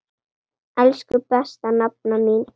Elsku besta nafna mín.